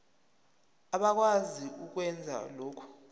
abakwazi ukwenza lokhu